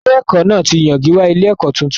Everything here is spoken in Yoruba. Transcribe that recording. Ilé-ẹ̀kọ́ náà ti yan gíwá ilé-ẹ̀kọ́ tuntun.